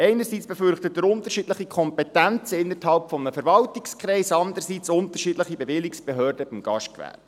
Einerseits befürchtet er unterschiedliche Kompetenzen innerhalb eines Verwaltungskreises und andererseits unterschiedliche Bewilligungsbehörden für das Gastgewerbe.